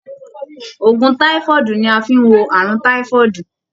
Òògùn táífọ́ọ̀dù ni a fí n wo ààrùn táífọ́ọ̀dù.